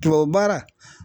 Tubabu baara.